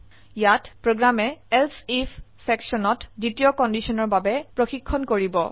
ইয়াত প্ৰোগ্ৰামে এলছে আইএফ সেকশনত দ্বিতীয় কন্ডিশনৰ বাবে প্ৰশিক্ষন কৰিব